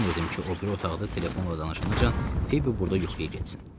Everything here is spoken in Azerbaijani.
İstəmirdim ki, o biri otaqda telefonla danışanacan Fibi burda yuxuya getsin.